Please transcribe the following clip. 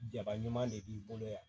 Jaba ɲuman de b'i bolo yan